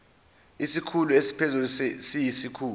isikhulu esiphezulu siyisikhulu